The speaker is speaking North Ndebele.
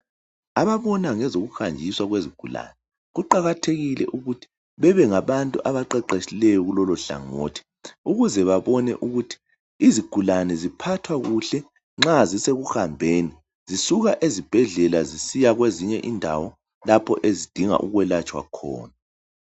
Ababona ngokuhanjiswa kwezigulane kuqakathekile ukuthi bebe ngabantu abaqeqetshileyo kulolohlangothi ukuze babone ukuthi izigulane ziphathwa kuhle nxa zisekuhambeni zisuka ezibhedlela zisiya kwezinye indawo lapho ezidinga ukwelatshwa khona.